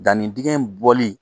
Dannidingɛ bɔli